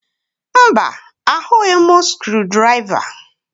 Mba, ahụghị m skrụdiraiva